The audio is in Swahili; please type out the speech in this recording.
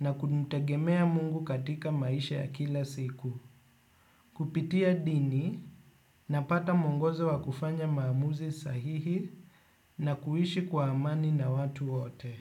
na kumtegemea mungu katika maisha ya kila siku. Kupitia dini napata mwongozo wa kufanya maamuzi sahihi na kuishi kwa amani na watu wote.